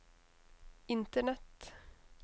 internett